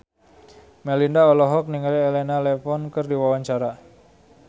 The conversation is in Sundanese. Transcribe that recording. Melinda olohok ningali Elena Levon keur diwawancara